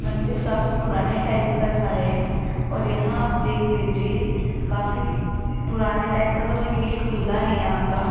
मंदिर काफी पुराने टाइप का सा है और यहां आप देख लीजिए काफी पुराने टाइप का सा और ये गेट खुला है यहां का।